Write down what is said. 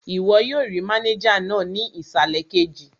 Ìwọ yóò rí mánéjà náà ní ìsàlẹ̀ kejì